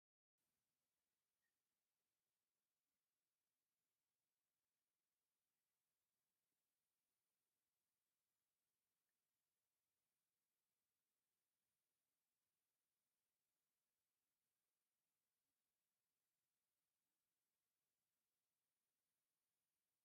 ዝተፈላለዩ ምግቢታት ዝርከቡሉ ቦታ ኮይኑ፤ አብ ደገ እቲ ገዛ ከዓ እንኳ ደሓን መፃኩም ገዛ አባዳማ ዝብል ብፃዕዳ ተፃሒፉ አብ ቀይሕ ድሕረ ገፅ አሎ፡፡ ከምኡውን ዕንቋይ ሕብሪ ወንበራትን ሰባትን ይርከቡ፡፡ እዚ ምግቢ ቤት አበይ ቦታ ይርከብ?